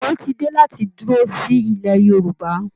Òwe ti dé láti dúró sí ilẹ̀ Yorùbá